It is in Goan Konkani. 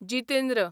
जितेंद्र